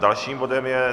Dalším bodem je